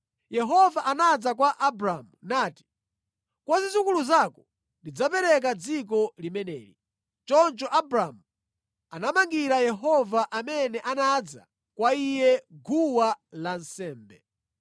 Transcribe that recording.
Yehova anadza kwa Abramu nati, “Kwa zidzukulu zako ndidzapereka dziko limeneli.” Choncho Abramu anamangira Yehova amene anadza kwa iye, guwa lansembe.